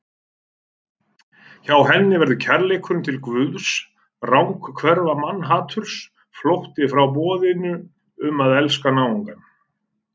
Hjá henni verður kærleikurinn til Guðs ranghverfa mannhaturs, flótti frá boðinu um að elska náungann.